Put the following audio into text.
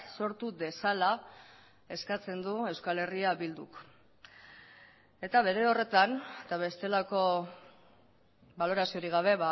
sortu dezala eskatzen du euskal herria bilduk eta bere horretan eta bestelako baloraziorik gabe